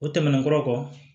O tɛmɛnen kɔ